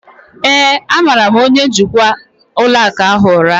ee, a mara' m onye njikwa ụlọ akụ ahụ ụra